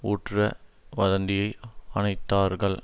ஊற்ற வதந்தியை அணைத்தார்கள்